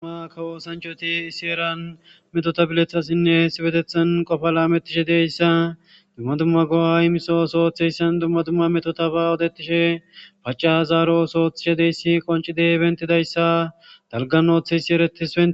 duma ka woosanchoti isi eran metota bilethassinne hesi betethan qofa lametishe deyssa dumma dumma go7a imiso osooththeyssan dumma dumma metota ba odetishe paca zaaro oso oththishe deyssi qoncideybentidayssa dalgan ooththeyssi eretise